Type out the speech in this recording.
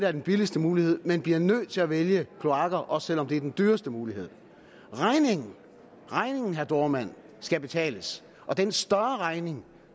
er den billigste mulighed men bliver nødt til at vælge kloakker også selv om det er den dyreste mulighed regningen herre dohrmann skal betales og den større regning